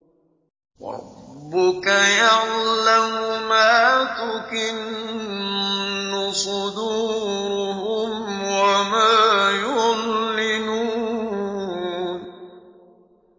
وَرَبُّكَ يَعْلَمُ مَا تُكِنُّ صُدُورُهُمْ وَمَا يُعْلِنُونَ